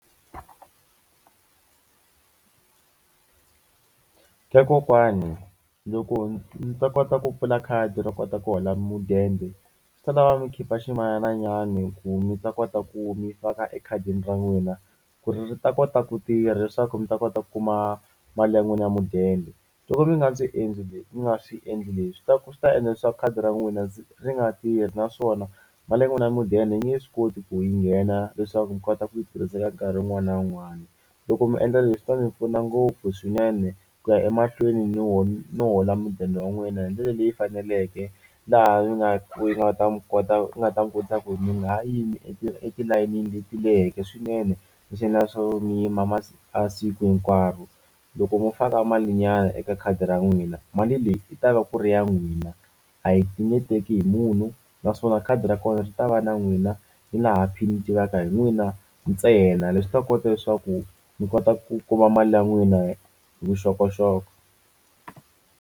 Ka kokwani loko mi ta kota ku pfula khadi ro kota ku hola mudende swi ta lava mi khipa ximalananyana ku mi ta kota ku mi faka ekhadini ra n'wina ku ri ta kota ku tirha leswaku mi ta kota ku kuma mali ya n'wina ya mudende. Loko mi nga endli leswi mi nga swi endli leswi swi ta swi ta endla leswaku khadi ra n'wina ri nga tirhi naswona mali ya wena ya mudende yi nge swi koti ku yi nghena leswaku mi kota ku yi tirhisa nkarhi wun'wani na wun'wani. Loko mi endla leswi ta mi pfuna ngopfu swinene ku ya emahlweni no no hola mudende wa n'wina hi ndlela leyi faneleke laha mi nga yi nga ta mi kota ku nga ta mi kota ku mi nga ha yimi etilayenini leti leheke swinene swo mi yima a siku hinkwaro. Loko mo faka malinyana eka khadi ra n'wina mali leyi yi ta va ku ri ya n'wina a yi nge teki hi munhu naswona khadi ra kona ri ta va na n'wina ni laha pin yi tivaka hi n'wina ntsena. Leswi ta kota leswaku mi kota ku kuma mali ya n'wina hi vuxokoxoko.